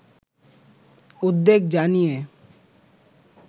উদ্বেগ জানিয়ে